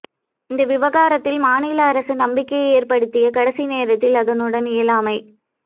இந்த விவகாரத்தில் மாநில அரசு நம்பிக்கையை ஏற்படுத்தி கடைசி நேரத்தில் அதனுடைய இயலாமை